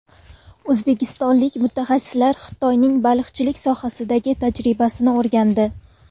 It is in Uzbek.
O‘zbekistonlik mutaxassislar Xitoyning baliqchilik sohasidagi tajribasini o‘rgandi.